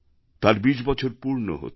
তার বিশ বছর পূর্ণ হচ্ছে